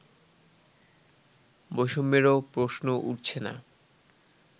বৈষম্যেরও প্রশ্ন উঠছে না